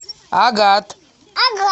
агат